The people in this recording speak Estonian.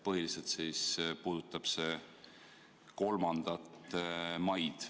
Põhiliselt puudutab see 3. maid.